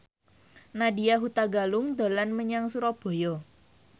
Nadya Hutagalung dolan menyang Surabaya